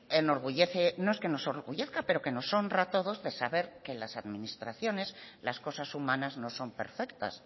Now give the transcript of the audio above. enorgullece no es que nos orgullezca pero que nos honra a todos de saber que las administraciones las cosas humanas no son perfectas